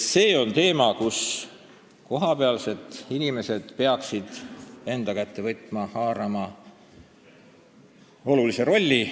See on teema, mille kohapealsed inimesed peaksid enda kätte võtma ja haarama seal olulise rolli.